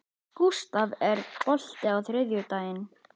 Gústaf, er bolti á þriðjudaginn?